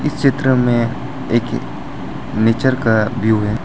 इस चित्र में एक नेचर का व्यू है।